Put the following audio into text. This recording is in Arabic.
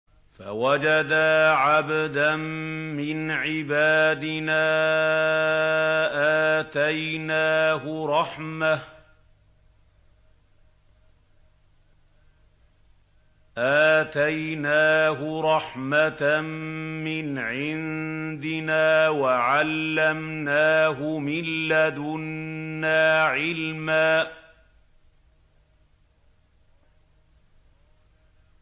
فَوَجَدَا عَبْدًا مِّنْ عِبَادِنَا آتَيْنَاهُ رَحْمَةً مِّنْ عِندِنَا وَعَلَّمْنَاهُ مِن لَّدُنَّا عِلْمًا